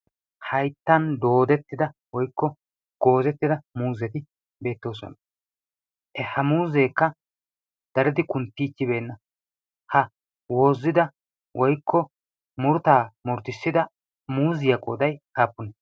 hayttan doodettida woykko goozettida muuzeti beettoosona. ha muuzeekka daridi kunttiichchibeenna ha woozida woikko murttaa murtissida muuziyaa qoodaiy aapunee?